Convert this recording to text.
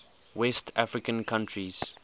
west african countries